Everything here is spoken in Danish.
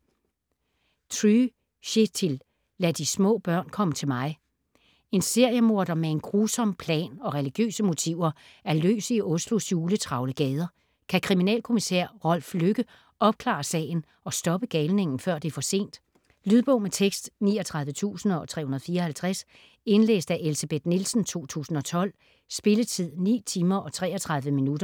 Try, Kjetil: Lad de små børn komme til mig En seriemorder, med en grusom plan og religiøse motiver, er løs i Oslos juletravle gader. Kan kriminalkommissær Rolf Lykke opklare sagen, og stoppe galningen, før det er for sent? Lydbog med tekst 39354 Indlæst af Elsebeth Nielsen, 2012. Spilletid: 9 timer, 33 minutter.